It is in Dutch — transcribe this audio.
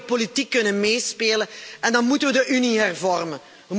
We moeten geopolitiek kunnen meespelen, en dan moeten we de Unie hervormen.